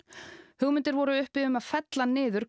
hugmyndir voru uppi um að fella niður